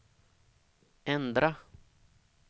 ändra